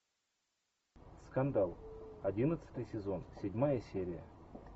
скандал одиннадцатый сезон седьмая серия